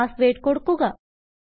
password കൊടുക്കുക